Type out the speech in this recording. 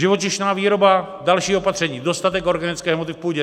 Živočišná výroba, další opatření, dostatek organické hmoty v půdě.